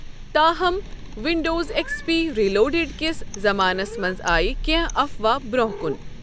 تاہم، 'Windows X P ریلوڑڑ' کِس زمانَس منٛز آے کینٛہہ افوا برٛونٛہہ کُن۔